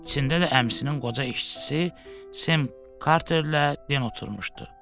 İçində də əmisinin qoca işçisi Sem Karterlə Den oturmuşdu.